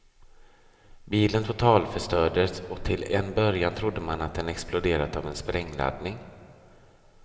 Bilen totalförstördes och till en början trodde man att den exploderat av en sprängladdning.